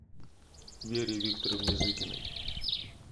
вере викторовне зыкиной